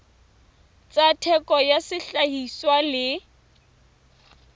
tsa theko ya sehlahiswa le